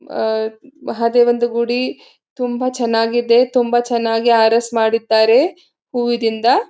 ಅಹ್ ಮಹದೇವನಂದು ಗುಡಿ ತುಂಬಾ ಚನ್ನಾಗಿದೆ ತುಂಬಾ ಚನ್ನಾಗಿ ಆರೆಸ್ ಮಾಡುತ್ತಾರೆ ಹೂವುದಿಂದ.